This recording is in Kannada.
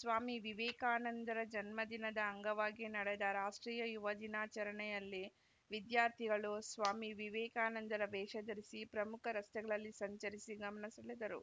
ಸ್ವಾಮಿ ವಿವೇಕಾನಂದರ ಜನ್ಮದಿನದ ಅಂಗವಾಗಿ ನಡೆದ ರಾಷ್ಟ್ರೀಯ ಯುವ ದಿನಾಚರಣೆಯಲ್ಲಿ ವಿದ್ಯಾರ್ಥಿಗಳು ಸ್ವಾಮಿ ವಿವೇಕಾನಂದರ ವೇಷ ಧರಿಸಿ ಪ್ರಮುಖ ರಸ್ತೆಗಳಲ್ಲಿ ಸಂಚರಿಸಿ ಗಮನ ಸೆಳೆದರು